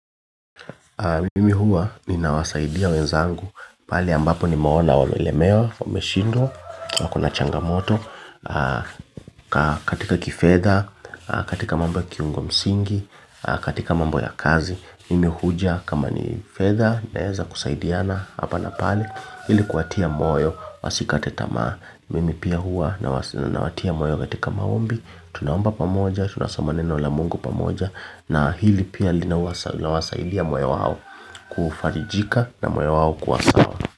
Mimi huwa ninawasaidia wenzangu, pale ambapo nimeona wamelemewa, wameshindwa wako na changamoto, katika kifedha, katika mambo ya kiungo msingi, katika mambo ya kazi, mimi huja kama ni fedha, naeza kusaidiana hapa na pale, ili kuwatia moyo, wasikate tamaa. Mimi pia hua nawas nawatia moyo katika maombi tunaomba pamoja, tunasoma neno la Mungu pamoja na hili pia linawasa linawasaidia moyo wao kufarijika na moyo wao kuwa sawa.